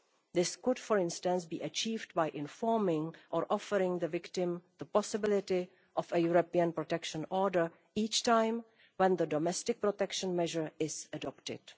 This could, for instance, be achieved by informing or offering the victim the possibility of a European Protection Order each time the domestic protection measure is adopted.